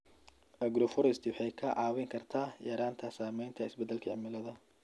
Agroforestry waxay kaa caawin kartaa yaraynta saameynta isbedelka cimilada.